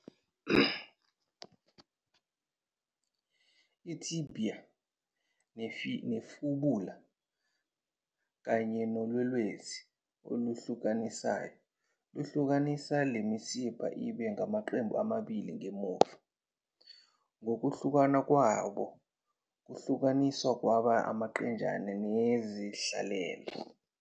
Itibia ne-fibula kanye nolwelwesi oluhlukanisayo luhlukanisa le misipha ibe ngamaqembu angaphambili nangemuva, ngokuhlukana kwabo kwahlukaniswa kwaba ngamaqenjana nezendlalelo.